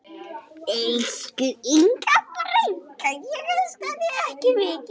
Elsku Inga frænka.